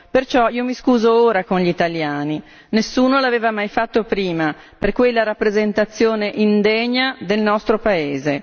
Perciò io mi scuso ora con gli italiani, nessuno l'aveva mai fatto prima, per quella rappresentazione indegna del nostro paese.